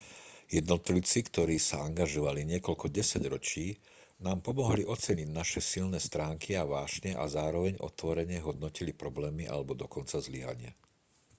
jednotlivci ktorí sa angažovali niekoľko desaťročí nám pomohli oceniť naše silné stránky a vášne a zároveň otvorene hodnotili problémy alebo dokonca zlyhania